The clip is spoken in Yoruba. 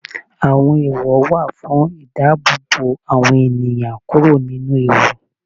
Àwọn ẹ̀èwọ̀ wà fún ìdáàbòbò àwọn ènìyàn kúrò nínú ewu.